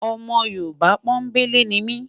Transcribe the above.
Ọmọ yorùbá pò n belé nimi